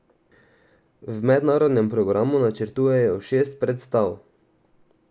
V mednarodnem programu načrtujejo šest predstav.